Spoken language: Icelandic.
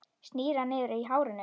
Snýr hana niður á hárinu.